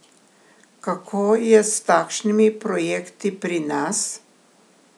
Kako je s takšnimi projekti pri nas?